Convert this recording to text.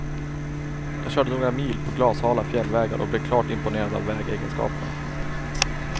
Jag körde några mil på glashala fjällvägar och blev klart imponerad av vägegenskaperna.